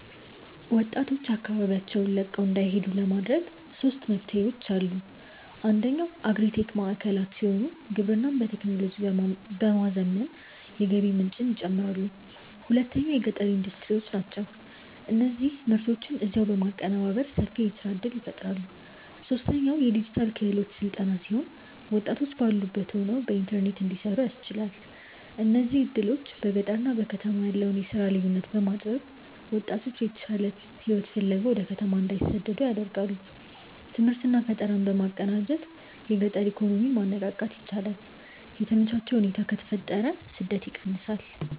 ወጣቶች አካባቢውን ለቀው እንዳይሄዱ ለማድረግ ሦስት መፍትሄዎች፦ አንደኛው አግሪ-ቴክ ማዕከላት ሲሆኑ፣ ግብርናን በቴክኖሎጂ በማዘመን የገቢ ምንጭን ይጨምራሉ። ሁለተኛው የገጠር ኢንዱስትሪዎች ናቸው፤ እነዚህ ምርቶችን እዚያው በማቀነባበር ሰፊ የሥራ ዕድል ይፈጥራሉ። ሦስተኛው የዲጂታል ክህሎት ሥልጠና ሲሆን፣ ወጣቶች ባሉበት ሆነው በኢንተርኔት እንዲሠሩ ያስችላል። እነዚህ ዕድሎች በገጠርና በከተማ ያለውን የሥራ ልዩነት በማጥበብ ወጣቶች የተሻለ ሕይወት ፍለጋ ወደ ከተማ እንዳይሰደዱ ያደርጋሉ። ትምህርትና ፈጠራን በማቀናጀት የገጠር ኢኮኖሚን ማነቃቃት ይቻላል። የተመቻቸ ሁኔታ ከተፈጠረ ስደት ይቀንሳል።